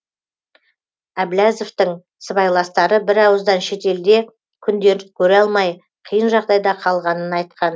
әбләзовтің сыбайластары бірауыздан шетелде күндерін көре алмай қиын жағдайда қалғанын айтқан